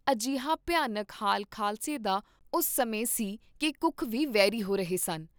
ਅਜਿਹਾ ਭਿਆਨਕ ਹਾਲ ਖਾਲਸੇ ਦਾ ਉਸ ਸਮੇਂ ਸੀ ਕੀ ਕੁੱਖ ਵੀ ਵੈਰੀ ਹੋ ਰਹੇ ਸਨ।